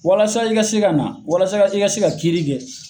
Walasa i ka se ka na, walasa i ka se ka kiri kɛ